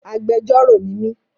Agbẹjọ́rọ̀ ni mí.